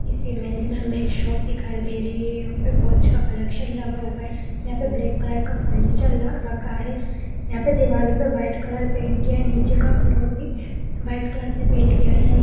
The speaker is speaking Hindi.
इस इमेज में हमें एक शॉप दिखाई दे रही है वहाँ पे बहुत सा कलेक्शन लगा हुआ है | यहाँ पर ब्लैक कलर का फनीचर रखा है यहाँ पे दिवलो पर वाइट कलर का पेंट किया है नीचे का फ्लोर भी वाइट कलर से पेंट किया गया है।